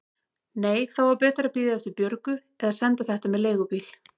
Nei, þá var betra að bíða eftir Björgu eða senda þetta með leigubíl.